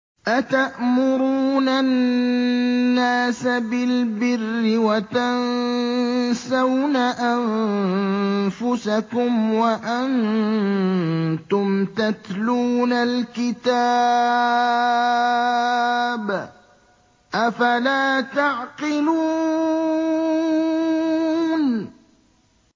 ۞ أَتَأْمُرُونَ النَّاسَ بِالْبِرِّ وَتَنسَوْنَ أَنفُسَكُمْ وَأَنتُمْ تَتْلُونَ الْكِتَابَ ۚ أَفَلَا تَعْقِلُونَ